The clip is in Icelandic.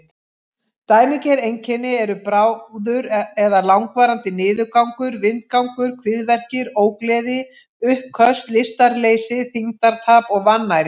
Dæmigerð einkenni eru bráður eða langvarandi niðurgangur, vindgangur, kviðverkir, ógleði, uppköst, lystarleysi, þyngdartap og vannæring.